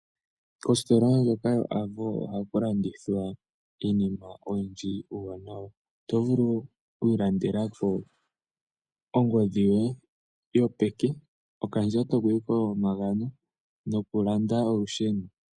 Kositola ndjoka yo Avo ohaku landithwa iinima oyindji iiwanawa. Oto vulu oku ilandelako ongodhi yoye yopeke, okandjato komagano nokulanda olusheno.